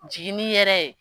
Jiginni yɛrɛ ye